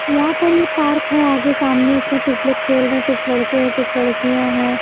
यहाँ पर ये पार्क हैआगे सामने उसमें कुछ लोग खेल रहे हैंकुछ लड़केहकुछ लड़कियाँ हैं।